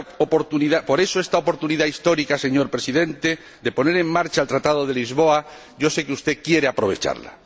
Por eso, esta oportunidad histórica, señor Presidente, de poner en marcha el Tratado de Lisboa, yo sé que usted quiere aprovecharla.